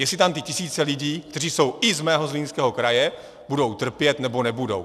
Jestli tam ty tisíce lidí, kteří jsou i z mého Zlínského kraje, budou trpět, nebo nebudou.